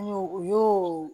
An y'o u y'o